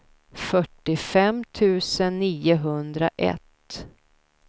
fyrtiofem tusen niohundraett